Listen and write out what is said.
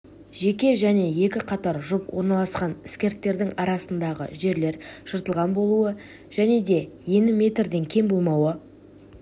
жеке және екі қатар жұп орналасқан іскірттердің арасындағы жерлер жыртылған болуы және де ені метрден кем болмауы